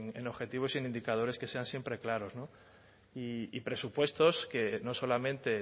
en objetivos y en indicadores que sean siempre claros y presupuestos que no solamente